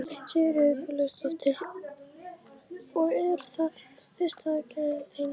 Sigríður Guðlaugsdóttir: Og er það fyrsta aðgerðin þín?